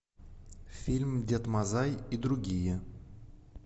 фильм дед мазай и другие